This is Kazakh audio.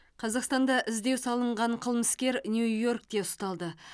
қазақстанда іздеу салынған қылмыскер нью йоркте ұсталды